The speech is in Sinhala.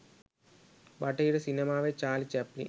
බටහිර සිනමාවේ චාලි චැප්ලින්